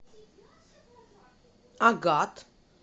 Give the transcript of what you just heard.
агат